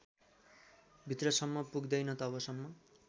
भित्रसम्म पुग्दैन तबसम्म